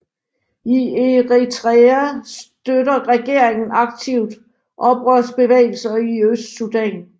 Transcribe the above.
I Eritrea støtter regeringen aktivt oprørsbevægelser i Østsudan